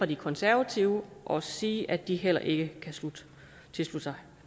de konservative og sige at de heller ikke kan tilslutte sig